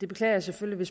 jeg beklager selvfølgelig